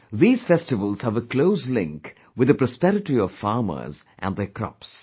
These festivals have a close link with the prosperity of farmers and their crops